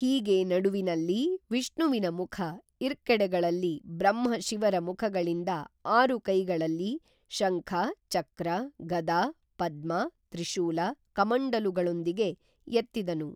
ಹೀಗೆ ನಡುವಿನಲ್ಲಿ ವಿಷ್ಣುವಿನ ಮುಖ ಇರ್ಕೆಡೆಗಳಲ್ಲಿ ಬ್ರಹ್ಮ ಶಿವರ ಮುಖಗಳಿಂದ ಆರು ಕೈಗಳಲ್ಲಿ, ಶಂಖ, ಚಕ್ರ, ಗದಾ, ಪದ್ಮ ತ್ರಿಶೂಲ ಕಮಂಡಲುಗಳೊಂದಿಗೆ ಎತ್ತಿದನು